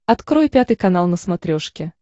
открой пятый канал на смотрешке